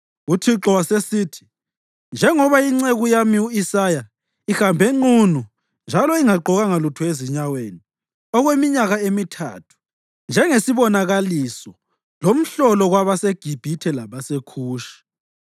UThixo wasesithi, “Njengoba inceku yami u-Isaya ihambe nqunu njalo ingagqokanga lutho ezinyaweni okweminyaka emithathu njengesibonakaliso lomhlolo kwabaseGibhithe labaseKhushi,